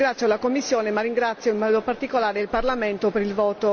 ringrazio la commissione ma ringrazio in modo particolare il Parlamento per il